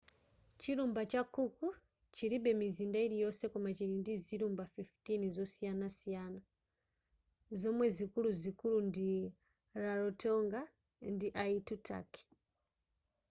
chilumba cha cook chilibe mizinda yiliyonse koma chili ndi zilumba 15 zosiyanasiyana zomwe zikululuzikulu ndi rarotonga ndi aitutaki